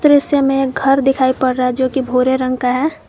दृश्य में घर दिखाई पड़ रहा है जो की भूरे रंग का है।